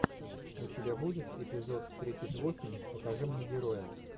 у тебя будет эпизод тридцать восемь покажи мне героя